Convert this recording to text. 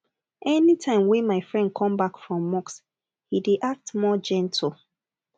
any time wey my friend come back from mosque he dey act more gentle